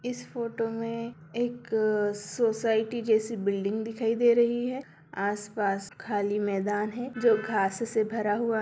इस फोटो में एक सोसाइटी जैसी बिल्डिंग दिखाई दे रही है आस-पास खाली मैदान है जो घास से भरा हुआ --